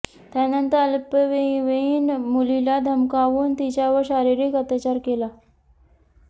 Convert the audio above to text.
त्यानंतर अल्पवयीन मुलीला धमकावून तिच्यावर शारीरिक अत्याचार केला